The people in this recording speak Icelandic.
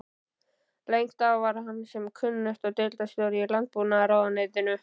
Lengst af var hann sem kunnugt er deildarstjóri í landbúnaðarráðuneytinu.